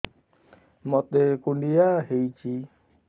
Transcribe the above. ମୋତେ କୁଣ୍ଡିଆ ହେଇଚି